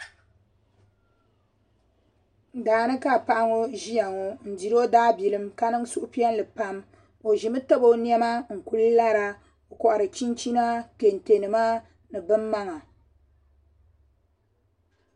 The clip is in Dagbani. Daani ka paɣa ŋo ʒiya ŋo n diri o daa bilim ka niŋ suhupiɛlli pam o ʒimi tabi o niɛma n ku lara o kohari chinchina kɛntɛ nima ni bin maŋa